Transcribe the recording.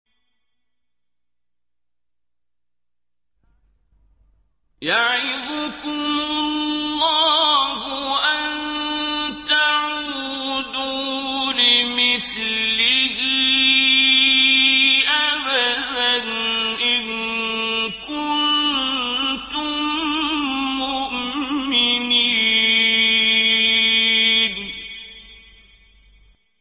يَعِظُكُمُ اللَّهُ أَن تَعُودُوا لِمِثْلِهِ أَبَدًا إِن كُنتُم مُّؤْمِنِينَ